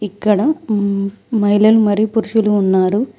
ఇక్కడ మహిళలు మరియు పురుషులు ఉన్నారు.